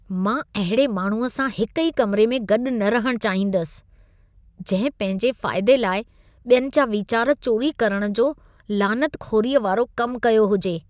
मां अहिड़े माण्हूअ सां हिक ई कमिरे में गॾि न रहणु चाहींदुसि, जंहिं पंहिंजे फ़ाइदे लाइ ॿियनि जा विचार चोरी करण जो लानतखोरीअ वारो कम कयो हुजे।